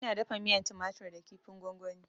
Ina dafa miyan tumatur da kifin gwagwani